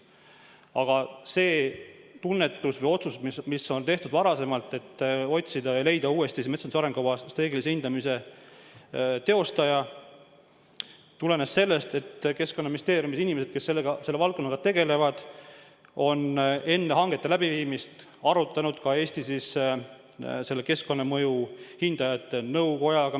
Aga see tunnetus või otsus, mis tehti varem, et otsida ja leida uuesti metsanduse arengukava strateegilise hindamise teostaja, tulenes sellest, et Keskkonnaministeeriumi inimesed, kes selle valdkonnaga tegelevad, on enne hangete läbiviimist arutanud asja Eesti keskkonnamõju hindajate nõukojaga.